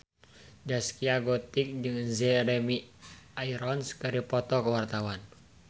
Zaskia Gotik jeung Jeremy Irons keur dipoto ku wartawan